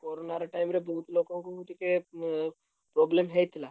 Corona ର time ରେ ବହୁତ୍ ଲୋକଙ୍କୁ ବି ଟିକେ ଉଁ problem ହେଇଥିଲା।